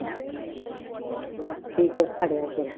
ਕੀ ਕੁਛ ਫੜਿਆ ਫਿਰ?